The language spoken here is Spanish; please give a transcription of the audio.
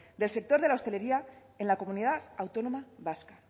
del sector de la hostelería en la comunidad autónoma vasca